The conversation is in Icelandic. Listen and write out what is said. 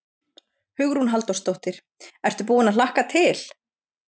Hugrún Halldórsdóttir: Ertu búinn að hlakka til?